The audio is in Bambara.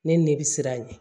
Ne ne bi siran a ɲɛ